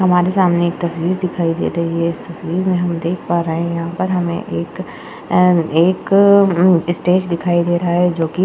हमारे सामने एक तस्वीर दिखाई दे रही है। इस तस्वीर मे हम देख पा रहे हैं। यहां पर एक एक स्टेज दिखाई दे रहा है जो की --